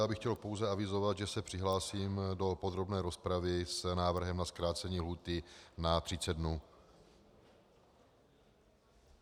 Já bych chtěl pouze avizovat, že se přihlásím do podrobné rozpravy s návrhem na zkrácení lhůty na 30 dnů.